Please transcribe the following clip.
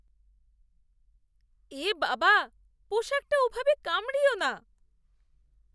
এ বাবা, পোশাকটা ওভাবে কামড়িয়ো না।